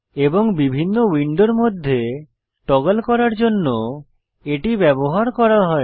এবং বিভিন্ন উইন্ডোর মধ্যে টগল করার জন্য এটি ব্যবহার করা হয়